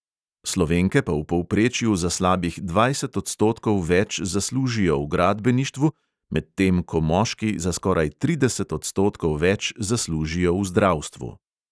Slovenke pa v povprečju za slabih dvajset odstotkov več zaslužijo v gradbeništvu, medtem ko moški za skoraj trideset odstotkov več zaslužijo v zdravstvu.